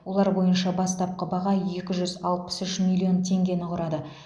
олар бойынша бастапқы баға екі жүз алпыс үш миллион теңгені құрады